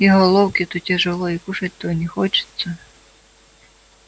и головке-то тяжело и кушать-то не хочется